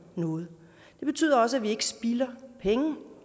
noget det betyder også at vi ikke spilder penge